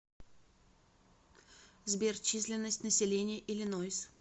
сбер численность населения иллинойс